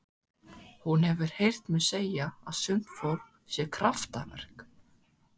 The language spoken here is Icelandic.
Hún hefur heyrt mig segja að sumt fólk sé kraftaverk.